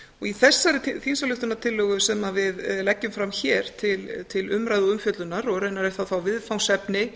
í þessari þingsályktunartillögu sem að við leggjum fram hér til umræðu og umfjöllunar og raunar er það þá viðfangsefni